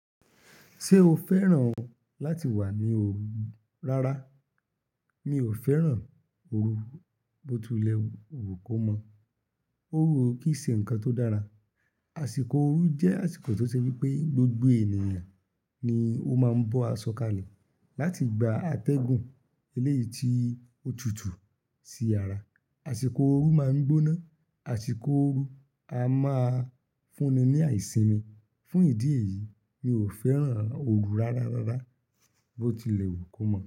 Ṣé o fẹ́ràn láti wà ní òru? Rárá, mi ò fẹ́ràn òru bó ti le wù kó mọ̀. Òru kì í ṣe ǹkan tó dára. Àsìkò òru jẹ́ àsìkò tí ó ṣe wípé gbogbo ènìyàn ni ó máa ń bọ́ àsọ̀ kalẹ̀ láti gba atẹ́gùn eléyìí tí ó tutù sí yàrá. Àsìkò òru máa ń gbóná. Àsìkò òru a máa fúnni ní àìsimi. Fún ìdí èyí, mi ò fẹ́ràn òru rárá raara, bó ti lẹ̀wù kó mọ̀